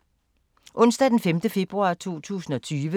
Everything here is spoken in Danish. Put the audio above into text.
Onsdag d. 5. februar 2020